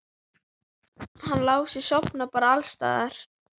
Hann Lási sofnar bara alls staðar.